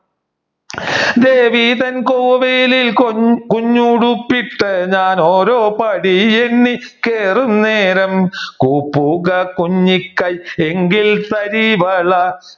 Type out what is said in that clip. ദേവി തൻ കോവിലിൽ കുഞ്ഞുടുപ്പിട്ട് ഞാൻ ഓരോ പടിയെണ്ണി കേറുന്നേരം കൂപ്പുക കുഞ്ഞിക്കൈ എങ്കിൽ തരിവള